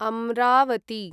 Amravati